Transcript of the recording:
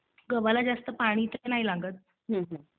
गव्हाला जास्त पाणी नाही लागत